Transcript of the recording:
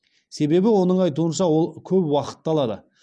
себебі оның айтуынша ол көп уақытты алады